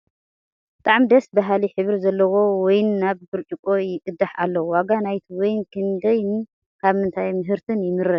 ብጣዕሚ ደስ በሃሊ ሕብሪ ዘለዎ ወይን ናብ ብጭርቆ ይቀዳሕ ኣሎ ። ዋጋ ናይቲ ወይን ክንደይ ን ካብ ምንታይ ምህርቲ ይምረት ?